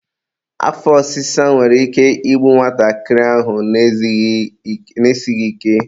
afọ ọsịsa nwere ike igbu nwatakịrị ahụ na-esighi ike.